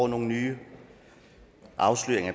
nogle nye afsløringer